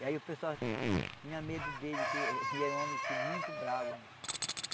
E aí o pessoal tinha medo dele, que ele era um homem assim muito bravo.